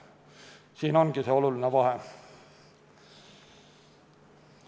Siin ongi see oluline vahe.